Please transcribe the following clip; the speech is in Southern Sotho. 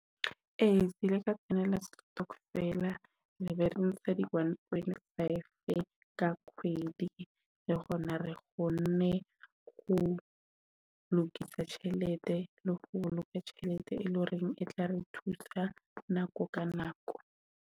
Ee kile ka kenela setokofela re be re ntsha di one point five ka kgwedi le hona re kgone ho lokisa tjhelete le ho boloka tjhelete, e leng hore, e tla re thusa nako ka nako.